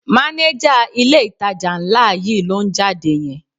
Mánéjà ilé-ìtajà ńlá yìí ló ń jáde yẹn